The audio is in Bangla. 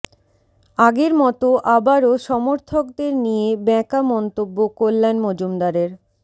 আগের মতো আবারও সমর্থকদের নিয়ে বেঁকা মন্তব্য কল্যাণ মজুমদারের